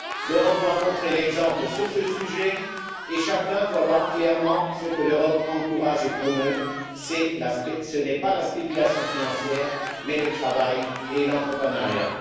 L'Europe doit montrer l'exemple sur ce sujet et chacun doit voir clairement ce que l'Europe encourage et promeut ce n'est pas la spéculation financière, mais le travail et l'entrepreneuriat.